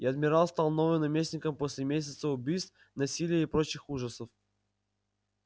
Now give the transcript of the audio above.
и адмирал стал новым наместником после месяца убийств насилия и прочих ужасов